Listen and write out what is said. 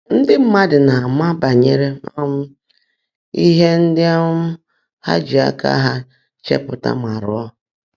Ndị́ mmádụ́ ná-ámá bányèré um íhe ndị́ um há jị áká há chèpụ́tá mà rụọ́.